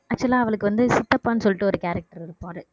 actual ஆ அவளுக்கு வந்து சித்தப்பான்னு சொல்லிட்டு ஒரு character இருப்பாரு